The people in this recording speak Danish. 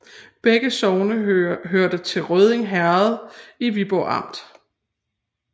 Begge sogne hørte til Rødding Herred i Viborg Amt